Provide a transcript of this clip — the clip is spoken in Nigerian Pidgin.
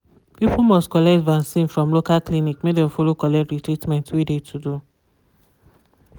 people must collect vaccin from local clinic make dem follow collect de treatment wey de to do.